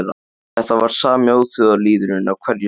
Þetta er sami óþjóðalýðurinn á hverju sumri